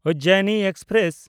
Ujjayini express